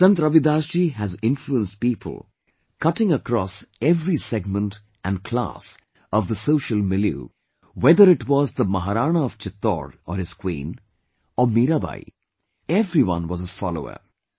Sant Ravidas ji has influenced people cutting across every segment and class of the social milieu whether it was the Maharana of Chittor or his Queen or Meerabai, everyone was his follower were followers